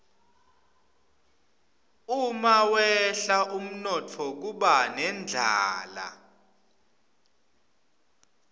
umawehla umnotfo kuba nendlala